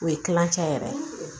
O ye kilancɛ yɛrɛ ye